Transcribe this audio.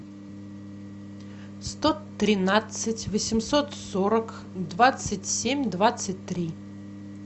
сто тринадцать восемьсот сорок двадцать семь двадцать три